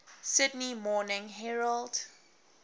sydney morning herald